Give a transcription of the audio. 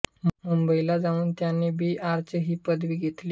मुंबईला जाऊन त्यांनी बी आर्च ही पदवी घेतली